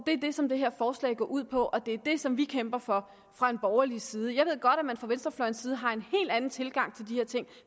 det som det her forslag går ud på og det er det som vi kæmper for fra borgerlig side jeg ved godt at man fra venstrefløjens side har en hel anden tilgang til de her ting